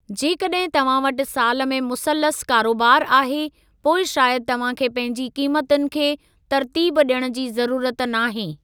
जेकॾहिं तव्हां वटि साल में मुसलसल कारोबारु आहे, पोइ शायदि तव्हां खे पंहिंजी क़ीमतुनि खे तरतीब ॾियण जी ज़रूरत नाहे।